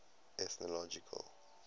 ethnological